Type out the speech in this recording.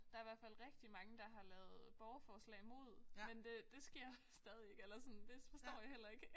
Der i hvert fald rigtig mange der har lavet borgerforslag mod men det det sker stadig ikke eller sådan det forstår jeg heller ikke